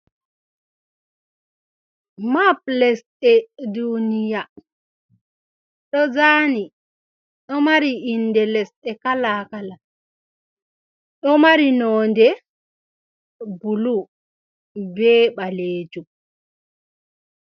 Map lesɗe duniya, do zani do mari inde lesde kala kala do mari nonɗe bulu be balejum.